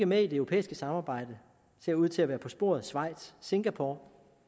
med i det europæiske samarbejde ser ud til at være på sporet schweiz singapore